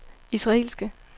israelske